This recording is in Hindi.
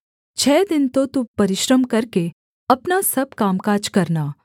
छः दिन तो तू परिश्रम करके अपना सब कामकाज करना